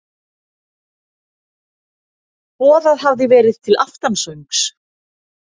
Boðað hafði verið til aftansöngs.